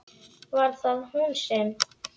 Var það hún sem?